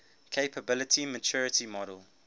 capability maturity model